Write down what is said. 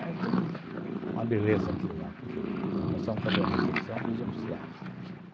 Aí foi uma beleza aquilo lá, porque nós passamos a fazer a refeição dos oficiais.